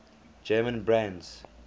german brands